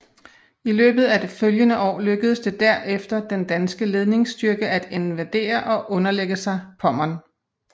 I løbet af det følgende år lykkedes det derefter den danske ledingsstyrke at invadere og underlægge sig Pommern